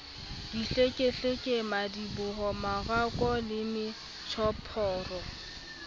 dihlekehleke madiboho marokgo le metjhophoro